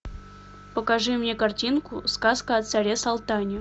покажи мне картинку сказка о царе салтане